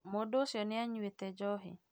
Mũndũ ũcĩo nĩ anyuĩte njohi